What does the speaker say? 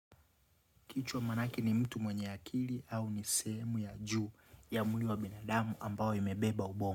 Kichwa maanake ni mtu mwenye akili au ni sehemu ya juu ya mwili wa binadamu ambao imebeba ubong.